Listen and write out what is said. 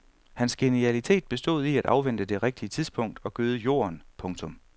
Hans genialitet bestod i at afvente det rigtige tidspunkt og gøde jorden. punktum